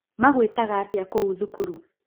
Magũitaga atĩa kũu thukuru